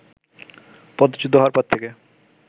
পদচ্যুত হওয়ার পর থেকে